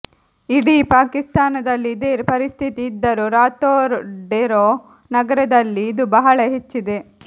ಇಡೀ ಪಾಕಿಸ್ತಾನದಲ್ಲಿ ಇದೇ ಪರಿಸ್ಥಿತಿ ಇದ್ದರೂ ರಾತೋಡೆರೋ ನಗರದಲ್ಲಿ ಇದು ಬಹಳ ಹೆಚ್ಚಿದೆ